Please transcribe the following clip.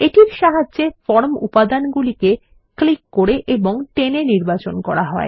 এটির সাহায্যে ফর্ম উপাদান গুলিকে ক্লিক করে এবং টেনে নির্বাচন করা হয়